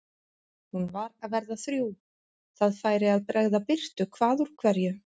Hún var að verða þrjú, það færi að bregða birtu hvað úr hverju.